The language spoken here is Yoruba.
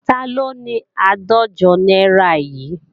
Taló ni àádọ́jọ náírà yìí?